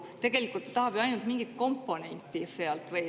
Tegelikult ta tahab ju ainult mingit komponenti sealt.